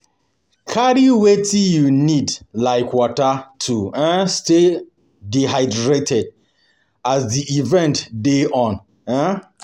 Carry wetin you need like water to um stay hydrated as di event dey on um